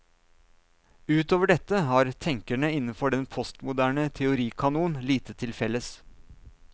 Utover dette har tenkerne innenfor den postmoderne teorikanon lite til felles.